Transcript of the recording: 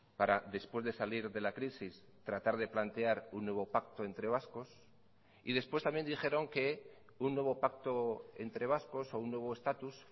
para después de salir de la crisis tratar de plantear un nuevo pacto entre vascos y después también dijeron que un nuevo pacto entre vascos o un nuevo estatus